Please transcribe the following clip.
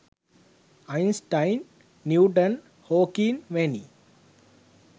Einstein Newton Hawking වැනි